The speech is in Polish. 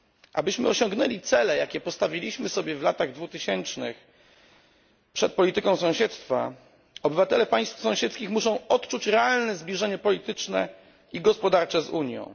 Abyśmy osiągnęli cele, jakie postawiliśmy w latach dwutysięcznych przed polityką sąsiedztwa, obywatele państw sąsiedzkich muszą odczuć realne zbliżenie polityczne i gospodarcze z Unią.